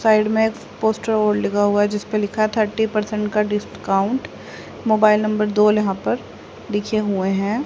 Side में एक poster और लिखा हुआ है जिस पे लिखा है थर्टी परसेंट का डिस्काउंट मोबाइल नंबर दोल यहां पर लिखे हुए हैं।